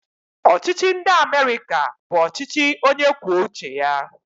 Ọchịchị ndị Amerịka bụ ọchịchị onyekwuouche ya